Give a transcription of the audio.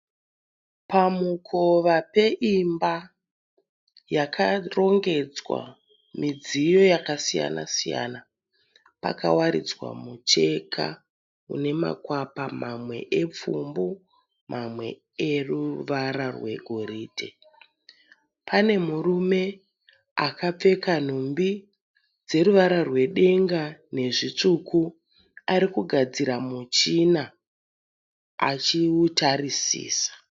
Pamukova peimba yakarongedzwa midziyo yakasiyana siyana pakawaridzwa mucheka unemakwapa mamwe epfumbu mamwe eruvara rwegoridhe. Pane murume akapfeka nhumbi dzeruvara rwebenga nezvitsvuku arikugadzira muchina achiutarisisa.